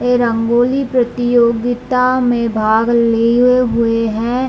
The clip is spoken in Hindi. ए रंगोली प्रतियोगिता में भाग लिये हुए हैं।